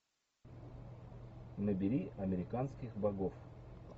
набери американских богов